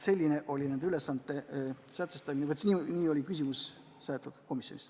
Sellised ülesanded sätestati ja täpselt nii seda komisjonis seletati.